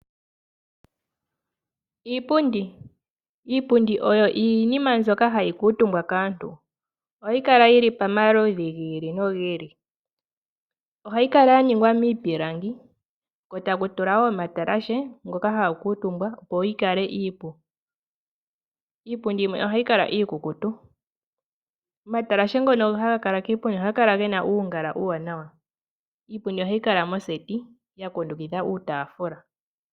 Iipundi Iipundi oyo iinima mbyoka hayi kuutumbwa kaantu. Ohayi kala yi li pamaludhi gi ili nogi ili. Ohayi kala ya ningwa miipilangi ko taku tulwa wo omatalashe ngoka haga kuutumbwa, opo yi kale iipu. Iipundi yimwe ohayi kala iikukutu. Omatalashe ngono haga kala kiipundi ohaga kala ge na oongala oombwaanawa. Iipundi ohayi kala moseti ya kundukidha iitaafula.